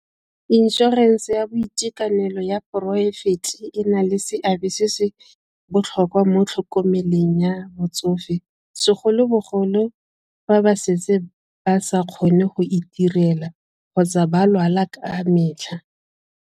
Inšorense ya boitekanelo ya poraefete e na le seabe se se botlhokwa mo tlhokomeleng ya motsofe segolobogolo fa ba setse ba sa kgone go itirela kgotsa ba lwala ka metlha.